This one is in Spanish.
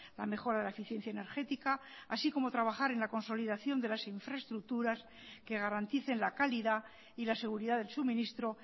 la mejora de la eficiencia energética así como trabajar en la consolidación de las infraestructuras que garanticen la calidad y la seguridad del suministro